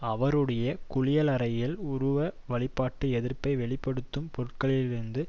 அவருடைய குளியலறையில் உருவ வழிபாட்டு எதிர்ப்பை வெளி படுத்தும் பொருட்களிலிருந்து